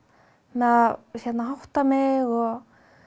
að hátta mig og